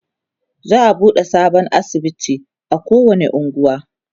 za'a buɗe sabon asibiti a kowani unguwa